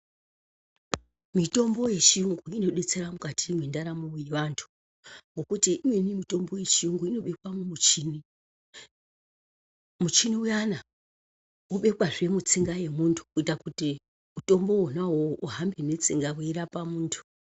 Mitombo ye chiyungu ino detsera mukati mwe ndaramo ye vantu ngekuti imweni mitombo ye chiyungu ino bekwa mu muchini muchini uyana wobekwa zve mutsinga ye muntu kuita kuti mutombo wona wowo uhambe ne tsinga wei rapa muntu.